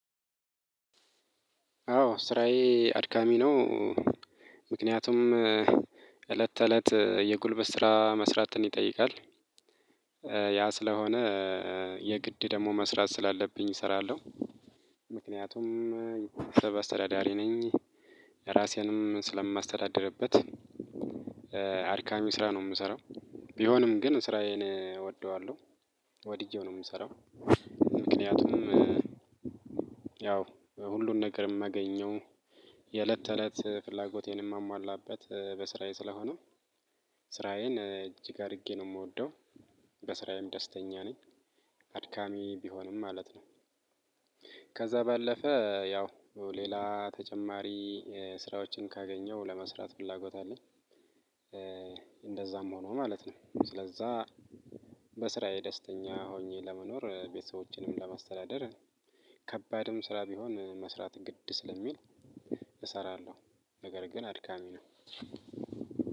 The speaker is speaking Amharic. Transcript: አዎ ስራዬ አድካሚ ነው። ምክንያቱም እለት ተእለት የጉልበት ስራ መስራትን ይጠይቃል። ያ ስለሆነ የግድ ደግሞ መስራት ስላለብኝ እሰራለሁ። ምክንያቱም ቤተሰብ አስተዳዳሪ ነኝ። እራሴንም ስለማስተዳድርበት አድካሚ ስራ ነው የምሰራው። ቢሆንም ግን ስራዬን እወደዋለሁ ወድጄው ነው የምሰራው። ምክንያቱም ያው ሁሉን ነገር የማገኘው የእለት ተእለት ፍላጎቴን የማሟላበት በስራዬ ስለሆነ። ስራዬን እጅግ አድርጌ ነው የምወደው በስራዬም ደስተኛ ነኝ። አድካሚ ቢሆንም ማለት ነው። ከዛ ባለፈ ያው ሌላ ተጨማሪ ስራዎችን ካገኘው ለመስራት ፍላጎት አለኝ። እንደዛም ሆኖ ማለት ነው ስለዛ። በስራዬ ደስተኛ ሆኜ ለመኖር ቤተሰቦችንም ለማስተዳደር ከባድም ስራ ቢሆን መስራት ግድ ስለሚል። እሰራለሁ ነገርግን አድካሚ ነው።